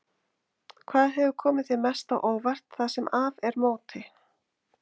Hvað hefur komið þér mest á óvart það sem af er móti?